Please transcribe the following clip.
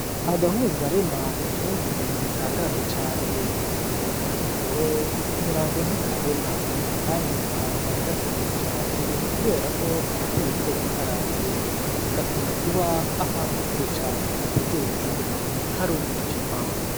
Agahungarema ni kamwe mu nyoni zitangaje cane, kaguruka mw'ijoro, ku murango ntikabona kandi abantu baragatinya cane kubera ko karateye ubwoba ukaravye. Gakunda kuba ahantu kure cane hategereye izindi nyoni, hari umwijima.